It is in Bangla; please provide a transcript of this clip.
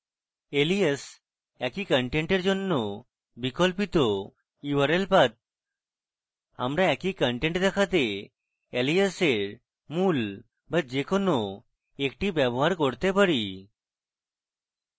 alias একই content জন্য বিকল্পিত url path আমরা একই content দেখাতে alias এর মূল বা যে কোনো একটি ব্যবহার করতে পারি